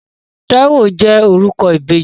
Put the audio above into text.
Táíwò jẹ́ orúkọ ìbejì.